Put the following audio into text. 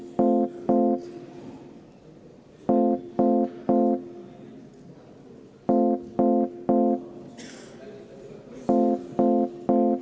Austatud Riigikogu, panen hääletusele Eesti Reformierakonna fraktsiooni ettepaneku võtta vastu 22. muudatusettepanek.